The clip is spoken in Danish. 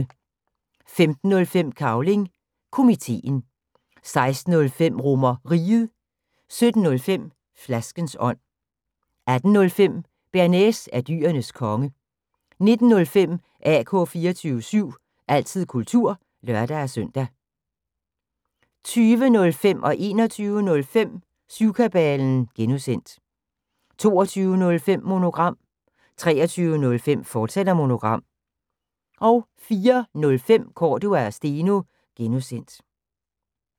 15:05: Cavling Komiteen 16:05: RomerRiget 17:05: Flaskens ånd 18:05: Bearnaise er Dyrenes Konge 19:05: AK 24syv – altid kultur (lør-søn) 20:05: Syvkabalen (G) 21:05: Syvkabalen (G) 22:05: Monogram 23:05: Monogram, fortsat 04:05: Cordua & Steno (G)